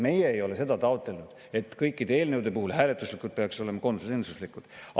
Meie ei ole seda taotlenud, et kõikide eelnõude puhul hääletused peaks olema konsensuslikud.